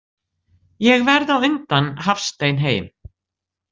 Ég verð á undan Hafstein heim.